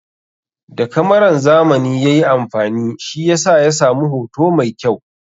Da kamaran zamani ya yi amfani, shi yasa ya samu hoto mai kyau.